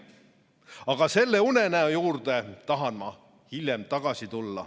Aga selle unenäo juurde tulen ma hiljem tagasi.